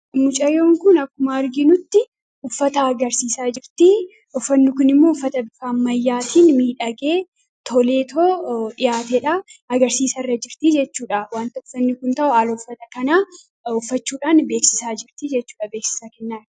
Mucayyoon kun akkuma arginutti uffata agarsiisaa jirti. uffanni kun immoo uffata ammayyaatiin miidhagee toleetoo dhihaatedhaa agarsiisa irra jirtii jechuudha. wanta uffanni kun ta'u haala uffata kanaa uffachuudhaan beeksisaa jirtii jechudha, beeksisaa kennaa.